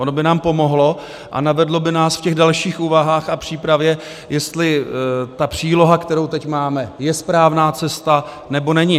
Ono by nám pomohlo a navedlo by nás v těch dalších úvahách a přípravě, jestli ta příloha, kterou teď máme, je správná cesta, nebo není.